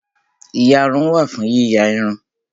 Ìyarun wà fún yíya irun